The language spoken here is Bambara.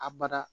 A bada